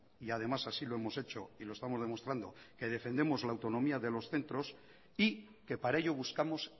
y además así lo hemos hecho y lo estamos demostrando que defendemos la autonomía de los centros y que para ello buscamos